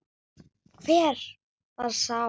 Hver var sá?